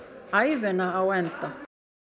ævina á enda